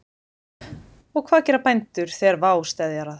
Og hvað gera bændur þegar vá steðjar að?